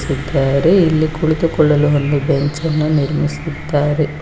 ಟ್ಟಿದ್ದಾರೆ ಇಲ್ಲಿ ಕುಳಿತುಕೊಳ್ಳಲು ಬೆಂಚನ್ನು ನಿರ್ಮಿಸಿದ್ದಾರೆ.